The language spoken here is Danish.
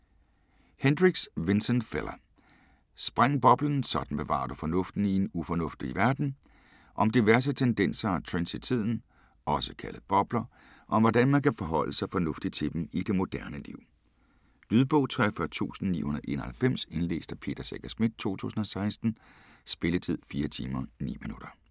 Hendricks, Vincent Fella: Spræng boblen: sådan bevarer du fornuften i en ufornuftig verden Om diverse tendenser og trends i tiden - også kaldet bobler - og om hvordan man kan forholde sig fornuftigt til dem i det moderne liv. Lydbog 43991 Indlæst af Peter Secher Schmidt, 2016. Spilletid: 4 timer, 9 minutter.